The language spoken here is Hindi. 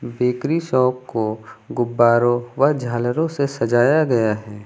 बेकरी शॉप को गुब्बारों व झालरों से सजाया गया है।